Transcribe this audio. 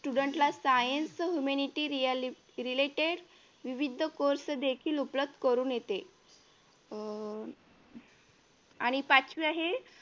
Student ला science humanity related विविध course देखील उपलब्ध करून देते अह आणि पाचवी आहे